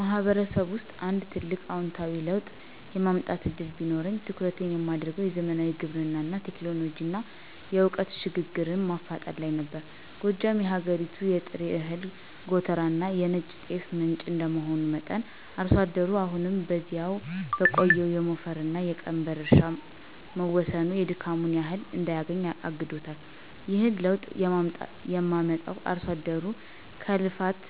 ማህበረሰብ ውስጥ አንድ ትልቅ አዎንታዊ ለውጥ የማምጣት ዕድል ቢኖረኝ፣ ትኩረቴን የማደርገው "የዘመናዊ ግብርና ቴክኖሎጂንና የዕውቀት ሽግግርን" ማፋጠን ላይ ነበር። ጎጃም የሀገሪቱ የጥሬ እህል ጎተራና የነጭ ጤፍ ምንጭ እንደመሆኑ መጠን፣ አርሶ አደሩ አሁንም በዚያው በቆየው የሞፈርና የቀንበር እርሻ መወሰኑ የድካሙን ያህል እንዳያገኝ አግዶታል። ይህንን ለውጥ የማመጣውም አርሶ አደሩ ከልፋት